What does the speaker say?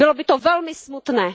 Bylo by to velmi smutné.